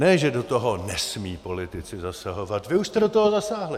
Ne, že do toho nesmí politici zasahovat - vy už jste do toho zasáhli!